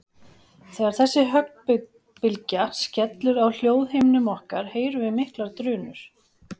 Þegar þessi höggbylgja skellur á hljóðhimnum okkar heyrum við miklar drunur.